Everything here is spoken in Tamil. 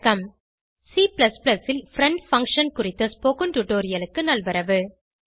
C ல் பிரெண்ட் பங்ஷன் குறித்த ஸ்போகன் டுடோரியலுக்கு நல்வரவு